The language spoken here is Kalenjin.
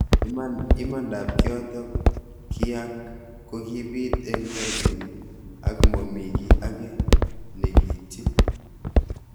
Imanda ab kiotok kiak kokibit eng terjinet ak momi ki age nekiityin.